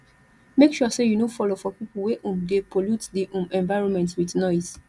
make sure say you no follow for pipo wey um de pollute di um environment with noise